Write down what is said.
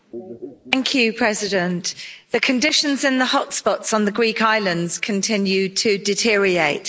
Madam President, the conditions in the hotspots on the Greek islands continue to deteriorate.